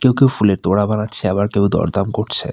কেউ কেউ ফুলের তোড়া বানাচ্ছে আবার কেউ দরদাম করছে।